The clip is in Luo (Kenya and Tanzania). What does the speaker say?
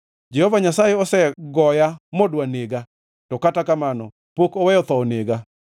Jehova Nyasaye osegoya modwa nega, to kata kamano pok oweyo tho onega.